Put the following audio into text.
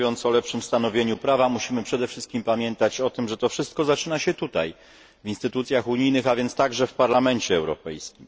Mówiąc o lepszym stanowieniu prawa musimy przede wszystkim pamiętać o tym, że to wszystko zaczyna się tutaj, w instytucjach unijnych, a więc także w Parlamencie Europejskim.